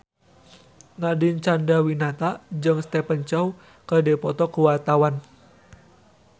Nadine Chandrawinata jeung Stephen Chow keur dipoto ku wartawan